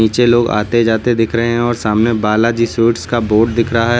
पीछे लोग आते जाते दिख रहे हैं और सामने बालाजी स्वीट्स का बोर्ड दिख रहा है।